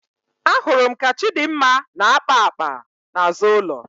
Ahụrụ m ka Chịdịmma na-akpa akpa n'azụ ụlọ.